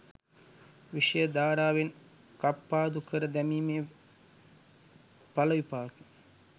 විෂය ධාරාවෙන් කප්පාදු කර දැමීමේ ඵලවිපාක